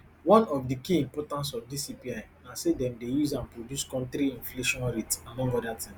one of di key importance of dis cpi na say dem dey use am produce kontri inflation rate among oda tins